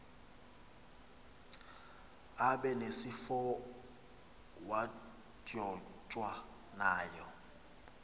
abe nesifowadyojwa ngayo